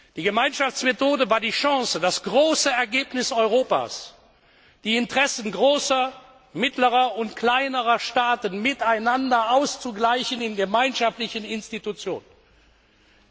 Die Gemeinschaftsmethode war die Chance, das große Ergebnis Europas, die Interessen großer, mittlerer und kleinerer Staaten miteinander in gemeinschaftlichen Institutionen auszugleichen.